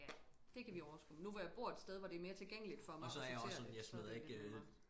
Ja det kan vi overskue nu hvor jeg bor et sted hvor det er mere tilgængeligt for mig at sortere det så det lidt nemmere